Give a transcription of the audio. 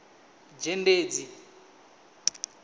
dzhendedzi